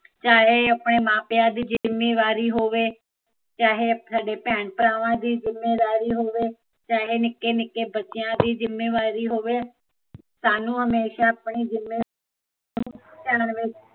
ਚਾਹੇ ਆਪਣੇ ਮਾਪਿਆ ਦੀ ਜਿੱਮੇਵਾਰੀ ਹੋਵੇ ਚਾਹੇ ਤੁਹਾਡੇ ਭੈਣ ਭਰਾਵਾਂ ਦੀ ਜਿੱਮੇਦਾਰੀ ਹੋਵੇ ਚਾਹੇ ਨਿਕੇ ਨਿਕੇ ਬੱਚਿਆ ਦੀ ਜਿੱਮੇਵਾਰੀ ਹੋਵੇ ਸਾਨੂੰ ਹਮੇਸ਼ਾ ਆਪਣੀ ਜਿੱਮੇਵਾਰੀ